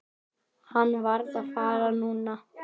Hann varð að fara núna.